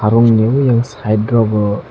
abo nog nog side rok bo.